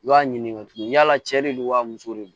I b'a ɲini tugun yala cɛ de don wa muso de don